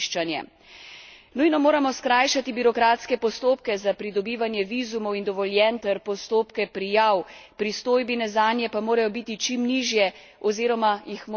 Nujno moramo skrajšati birokratske postopke za pridobivanje vizumov in dovoljenj ter postopke prijav, pristojbine zanje pa morajo biti čim nižje oziroma jih moramo odpraviti.